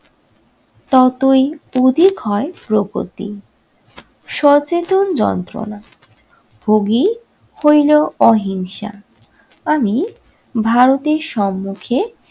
ততই উদিক হয় প্রগতি। সচেতন যন্ত্রনা ভোগী হইলেও অহিংসা আমি ভারতের সম্মুখে-